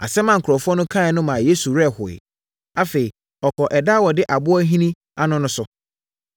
Asɛm a nkurɔfoɔ no kaeɛ no maa Yesu werɛ hoeɛ. Afei, ɔkɔɔ ɛda a wɔde ɛboɔ ahini ano no so.